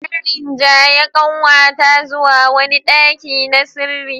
An rinjaye kanwata zuwa wani daki na sirri.